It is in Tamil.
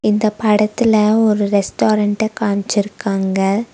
இந்தப் படத்துல ஒரு ரெஸ்டாரன்ட்ட காம்ச்சிருக்காங்க.